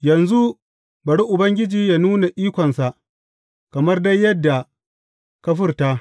Yanzu bari Ubangiji yă nuna ikonsa, kamar dai yadda ka furta.